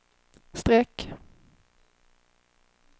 streck